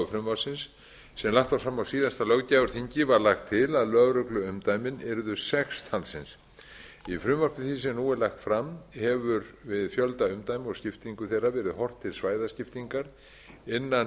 frumvarpsins sem lagt var fram á síðasta löggjafarþingi var lagt til að lögregluumdæmi yrðu sex talsins í frumvarpi því sem nú var lagt fram hefur í fjölda umdæma og skiptingu þeirra verið horft til svæðaskiptingar innan